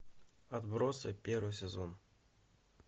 отбросы первый сезон